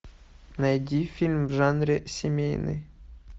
найди фильм в жанре семейный